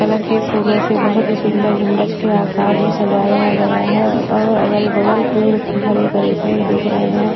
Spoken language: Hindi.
कलर के फूलों से बहुत ही सुंदर गुंबज के आकार में सजाया गया है और अगल-बगल पेड़ हरे भरे पेड़ दिख रहे हैं।